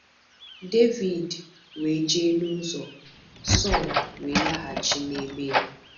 Devid we je n'uzọ, Sọl we laghachi n'ebe-ya.